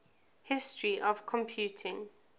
history of computing